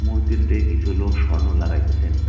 মূর্তিটিতে কিছু লোক স্বর্ণ লাগাইতেসেন।